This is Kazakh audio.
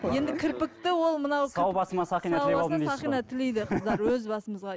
енді кірпікті ол мынау сау басыма сақина тілеп сау басына сақина тілейді қыздар өз басымызға